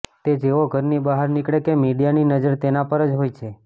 તે જેવો ઘરની બહાર નીકળે કે મીડિયાની નજર તેના પર જ હોય છે